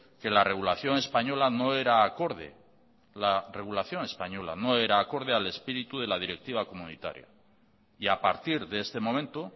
que la regulación española no era acorde la regulación española no era acorde al espíritu de la directiva comunitaria y a partir de este momento